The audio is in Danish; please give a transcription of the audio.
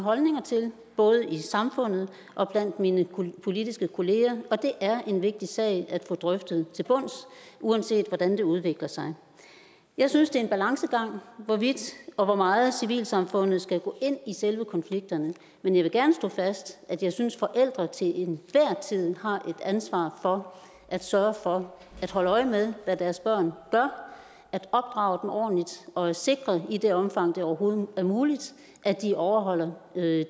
holdninger til både i samfundet og blandt mine politiske kolleger og det er en vigtig sag at få drøftet til bunds uanset hvordan det udvikler sig jeg synes det er en balancegang hvorvidt og hvor meget civilsamfundet skal gå ind i i selve konflikterne men jeg vil gerne slå fast at jeg synes at forældre til enhver tid har et ansvar for at sørge for at holde øje med hvad deres børn gør at opdrage dem ordentligt og at sikre i det omfang det overhovedet er muligt at de overholder